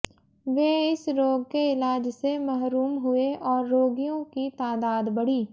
वे इस रोग के इलाज से महरूम हुए और रोगियों की तादाद बढ़ी